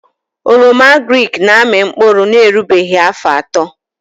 Oroma agrịk na amị mkpụrụ na erughị afọ atọ